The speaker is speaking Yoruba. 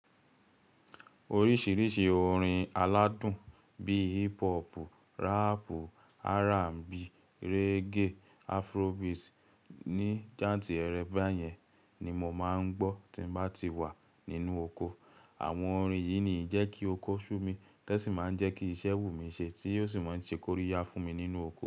Oríṣìíríṣìí orin aládùn bí i hip hop, rap, R&B, reggae, Afrobeats ní jáǹtì ẹ̀rẹ̀ báyẹn ni mo máa ń gbọ́ tí bá ti wà nínú oko. Àwọn orin yìí ni ń jẹ́ kí oko ṣú mi, tí ó sì máa ń jẹ́ kí iṣẹ́ wù mí ṣe, tí ó sì máa ń ṣe kóríyá fún mi nínú oko.